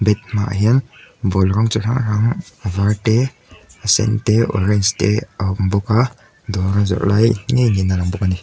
hmaah hian ball rawng chi hrang hrang a var te a sen te orange te a awm bawk a dawra zawrh lai ngei niin a lang bawk a ni.